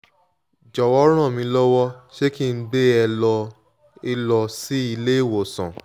jọ̀wọ́ ràn mí lọ́wọ́ ṣé kí n gbé e lọ e lọ sí ilé ìwòsàn?